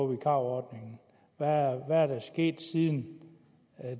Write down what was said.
vikarordningen hvad er der sket siden